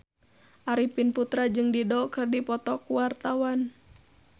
Arifin Putra jeung Dido keur dipoto ku wartawan